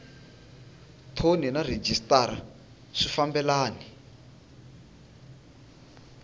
thoni na rhejisitara swi fambelani